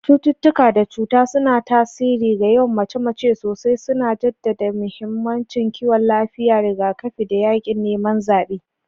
Cututtuka da cuta suna tasiri ga yawan mace-mace sosai, suna jaddada mahimmancin kiwon lafiya, rigakafi, da yaƙin neman zaɓe.